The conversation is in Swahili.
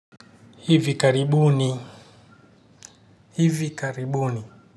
Hivi karibuni, hivi karibuni.